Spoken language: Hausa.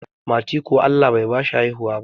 Mati kuwa Allah Bai bashi haihuwa ba